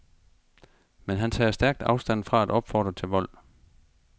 Men han tager stærkt afstand fra at opfordre til vold.